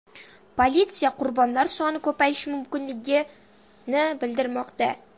Politsiya qurbonlar soni ko‘payishi mumkinligini bildirmoqda.